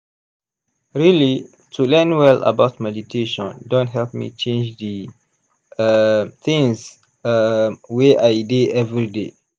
really to learn well about meditation don help me change d um things um wey i dey everyday.